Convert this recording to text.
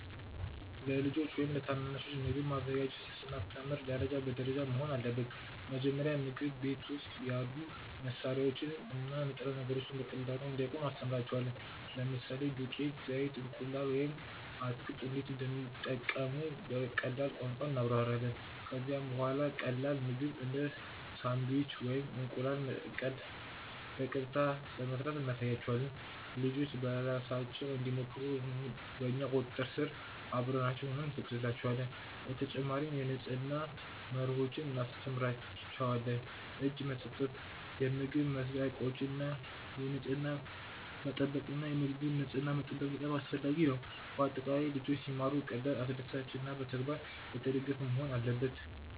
ለልጆች ወይም ለታናናሾች ምግብ ማዘጋጀትን ስናስተምር ደረጃ ደረጃ መሆን አለበት። መጀመሪያ ምግብ ቤት ውስጥ ያሉ መሳሪያዎችን እና ንጥረ ነገሮችን በቀላሉ እንዲያውቁ እናስተምራቸዋለን። ለምሳሌ ዱቄት፣ ዘይት፣ እንቁላል ወይም አትክልት እንዴት እንደሚጠቀሙ በቀላል ቋንቋ እናብራራለን። ከዚያ በኋላ ቀላል ምግብ እንደ ሳንድዊች ወይም እንቁላል መቀቀል በቀጥታ በመስራት እናሳያቸዋለን። ልጆች በራሳቸው እንዲሞክሩ በእኛ ቁጥጥር ስር አብረናቸው ሆነን እንፈቅድላቸዋለን። በተጨማሪም የንጽህና መርሆዎችን እንማራቸዋለን፤ እጅ መታጠብ፣ የምግብ መስሪያ እቃዎችን ንጽሕና መጠበቅ እና የምግቡን ንጽሕና መጠበቅ በጣም አስፈላጊ ነው። በአጠቃላይ ልጆች ሲማሩ ቀላል፣ አስደሳች እና በተግባር የተደገፈ መሆን አለበት።